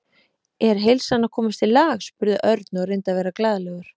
Er heilsan að komast í lag? spurði Örn og reyndi að vera glaðlegur.